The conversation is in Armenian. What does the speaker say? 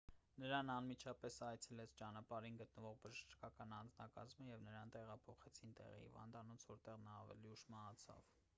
նրան անմիջապես այցելեց ճանապարհին գտնվող բժշկական անձնակազմը և նրան տեղափոխեցին տեղի հիվանդանոց որտեղ նա ավելի ուշ մահացավ